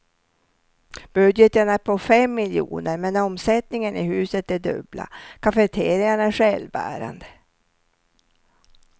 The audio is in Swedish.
Budgeten är på fem miljoner, men omsättningen i huset det dubbla, cafeterian är självbärande.